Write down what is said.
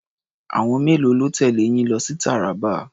Àwọn mélòó ló tẹ̀lé yín lọ sí Taraba?